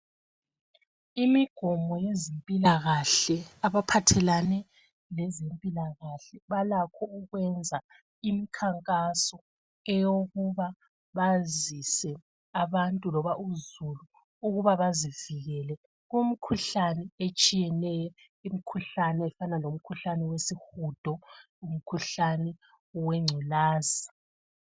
Imigomo yezempilakahle, abaphathelane lezempilakahle, balakho ukwenza imikhankaso eyokuba bazise abantu loba uzulu ukuba bazivikele, kumikhuhlane etshiyeneyo. Imikhuhlane efana lomkhuhlane wesihudo, umkhuhlane wengculaza.